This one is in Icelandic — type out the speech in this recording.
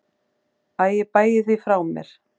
Æ ég bægi því frá mér.